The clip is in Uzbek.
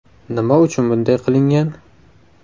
Nima uchun bunday qilingan?